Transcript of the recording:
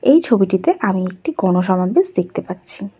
এই ছবিটিতে আমি একটি গণসমাবেশ দেখতে পাচ্ছি।